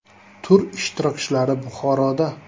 Tur ishtirokchilari Buxoroda.